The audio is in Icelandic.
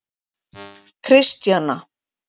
Kristjana